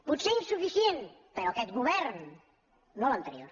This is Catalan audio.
potser insuficient però aquest govern no l’an·terior